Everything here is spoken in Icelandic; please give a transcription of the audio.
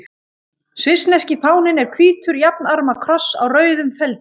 Svissneski fáninn er hvítur jafnarma kross á rauðum feldi.